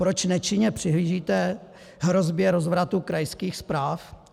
Proč nečinně přihlížíte hrozbě rozvratu krajských správ?